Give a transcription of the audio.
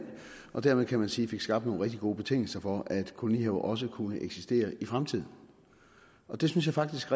og dermed kan man sige fik skabt nogle rigtig gode betingelser for at kolonihaver også kunne eksistere i fremtiden og det synes jeg faktisk